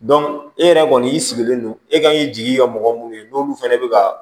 e yɛrɛ kɔni y'i sigilen don e ka jigi ye mɔgɔ minnu ye n'olu fɛnɛ bɛ ka